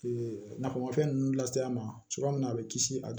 nafamafɛn ninnu lase a ma cogoya min na a bɛ kisi a